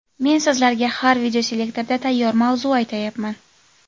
Men sizlarga har videoselektorda tayyor mavzu aytayapman.